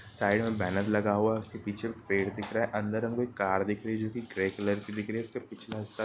side में banner लगा हुआ है| उसके पीछे एक पेड़ दिख रहा है| अंदर हमको एक कार दिख रही जो की ग्रे कलर की दिख रही है| उसका पिछले हिस्सा--